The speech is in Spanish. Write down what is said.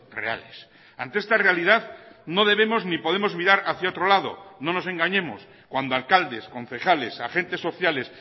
reales ante esta realidad no debemos ni podemos mirar hacia otro lado no nos engañemos cuando alcaldes concejales agentessociales